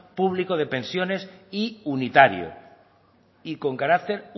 público de pensiones y unitario y con carácter